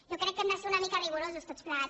jo crec que hem de ser una mica rigorosos tots plegats